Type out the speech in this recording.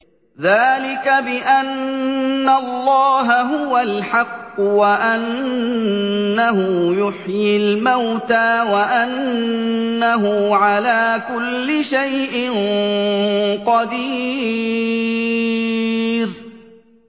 ذَٰلِكَ بِأَنَّ اللَّهَ هُوَ الْحَقُّ وَأَنَّهُ يُحْيِي الْمَوْتَىٰ وَأَنَّهُ عَلَىٰ كُلِّ شَيْءٍ قَدِيرٌ